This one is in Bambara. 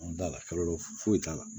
da la kɔlɔ fo foyi t'a la